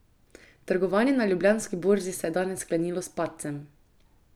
Trgovanje na Ljubljanski borzi se je danes sklenilo s padcem.